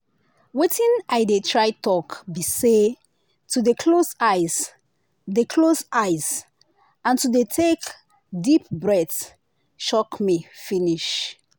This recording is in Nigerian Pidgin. watin i dey try talk be say to dey close eyes dey close eyes and to dey take deep breath shock me finish.